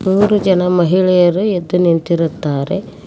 ಮೂರು ಜನ ಮಹಿಳೆಯರು ಎದ್ದು ನಿಂತಿರುತ್ತಾರೆ.